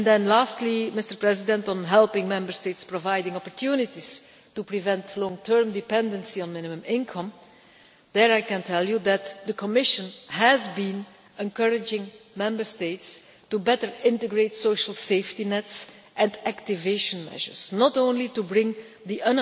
Lastly, on helping Member States providing opportunities to prevent long term dependency on minimum income, I can tell you that the Commission has been encouraging Member States to better integrate social safety nets and activation measures, not only to bring the